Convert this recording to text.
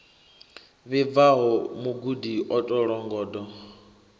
vhibvaho mugudi o tou longondo